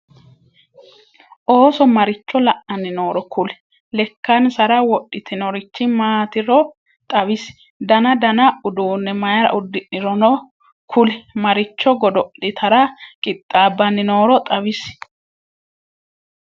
ooso maricho la'anni nooro kuli? lekansarra wodhitinnorich maatiro xawisi? danna danna uduunne mayira udidhinoronno kuli? maricho goddo'litara qixaabanni nooro xawisi?